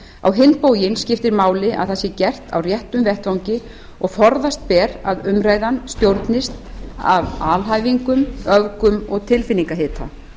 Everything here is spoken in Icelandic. á hinn bóginn skiptir máli að það sé gert á réttum vettvangi og forðast ber að umræðan stjórnist af alhæfingum öfgum og tilfinningahita